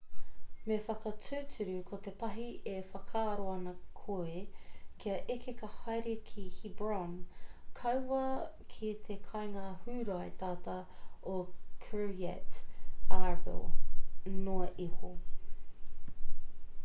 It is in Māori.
me whakatūturu ko te pahi e whakaaro ana koe kia eke ka haere ki hebron kaua ki te kāinga hūrae tata o kiryat arba noa iho